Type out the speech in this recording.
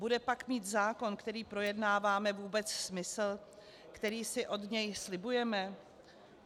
Bude pak mít zákon, který projednáváme, vůbec smysl, který si od něj slibujeme?